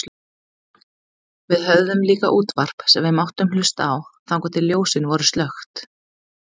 Við höfðum líka útvarp sem við máttum hlusta á þangað til ljósin voru slökkt.